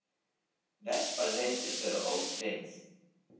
Vespan reyndist vera ótryggð.